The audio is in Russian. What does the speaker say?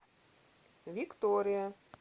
виктория